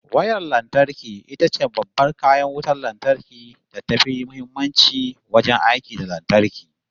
Wayar lantarki itace babban kayan wutan lantarki da tafi muhimmanci wajen aiki da lantarki